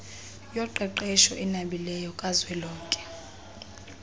yoqeqesho enabileyo kazwelonke